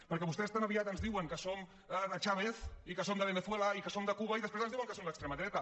perquè vostès tan aviat ens diuen que som de chávez i que som de venezuela i que som de cuba i després ens diuen que som l’extrema dreta